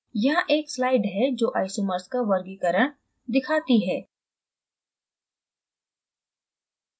यहाँ एक slide है जो isomers का वर्गीकरण दिखाती है